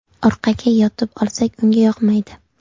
Orqaga yotib olsak, unga yoqmaydi.